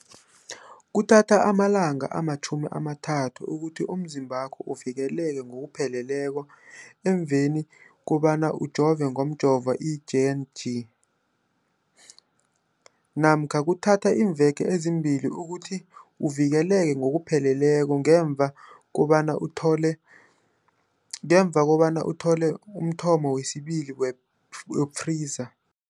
Kuthatha amalanga ama-30 ukuthi umzimbakho uvikeleke ngokupheleleko emveni kobana ujove ngomjovo i-J and J namkha kuthatha iimveke ezimbili ukuthi uvikeleke ngokupheleleko ngemva kobana uthole umthamo wesibili wePfizer.